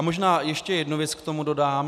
A možná ještě jednu věc k tomu dodám.